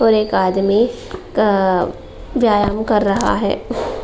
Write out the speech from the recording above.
और एक आदमी का व्यायम कर रहा है।